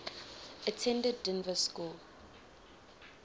attended dynevor school